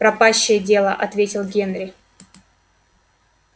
пропащее дело ответил генри